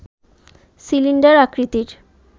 cylinder আকৃতির